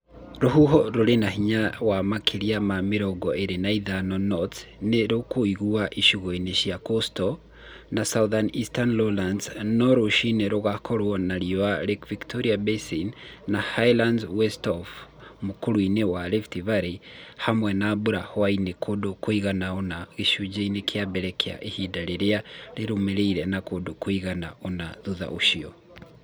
Rũhuho rũrĩ na hinya wa makĩria ma mĩrongo ĩrĩ na ithano knots nĩ rũkũigua icigo-inĩ cia Coastal na South-Eastern Lowlands no rũcinĩ gũgakorwo na riũa Lake Victoria Basin na Highlands West of the m ũk ũr ũ wa rift hamwe na " mbura ya hwaĩ-inĩ kũndũ kũigana ũna gĩcunjĩ-inĩ kĩa mbere kĩa ihinda rĩrĩa rĩramũre na kũndũ kũigana ũna thutha ũcio."